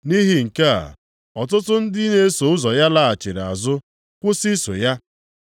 Nʼihi nke a, ọtụtụ ndị na-eso ụzọ ya laghachiri azụ, kwụsị iso ya.